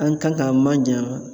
An kan k'a manjanya